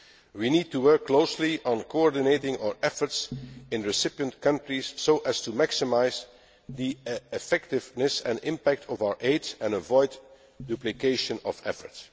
We need to work closely on coordinating our efforts in recipient countries so as to maximise the effectiveness and impact of our aid and avoid duplication of effort.